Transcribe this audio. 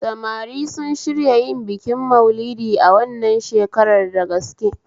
Samari sun shirya yin bikin Malidi wannan shakarar da gaske